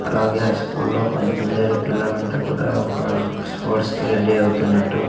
అలాగే ఆ స్కూల్ లో కొంత అందరూ పిల్లలు అంతా కూడా ఒక స్పోర్ట్స్ కి రెడీ అవుతున్నట్టు --